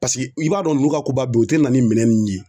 Paseke i b'a dɔn u n'u ka koba bɛ u te na ni minɛn nunnu ye